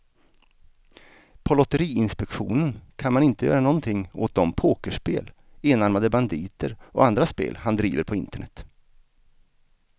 På lotteriinspektionen kan man inte göra någonting åt de pokerspel, enarmade banditer och andra spel han driver på internet.